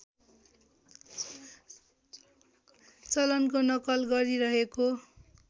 चलनको नक्कल गरिरहेको